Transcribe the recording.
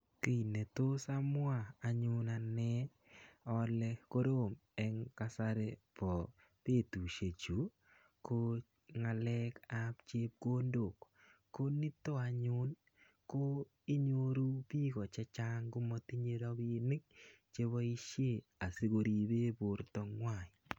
Kiy netos amwa anyun ane ale korom eng kasari bo betushek chu ko ngalek ap chepkondok ko nito anyun ko inyoru biko che chang komatinyei ropinik cheboishe asikoribe borto ng'wai.